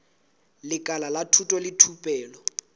lekala la thuto le thupelo